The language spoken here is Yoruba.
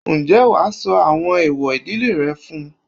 Ǹjẹ́ wàá sọ àwọn ẹ̀èwọ̀ ìdílé rẹ fún-un?